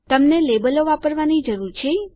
તમને લેબલો વાપરવાની જરૂર છે